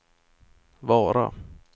Vara